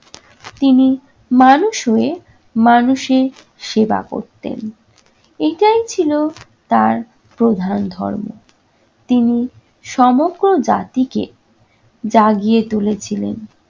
তিনি মানুষ হয়ে মানুষের সেবা করতেন। এটাই ছিল তার প্রধান ধর্ম। তিনি সমগ্র জাতিকে জাগিয়ে তুলেছিলেন।